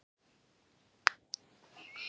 Nýhöfn getur út.